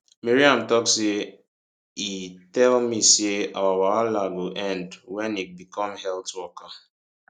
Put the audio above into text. maryam tok say e tell me say our wahala go end wen e become health worker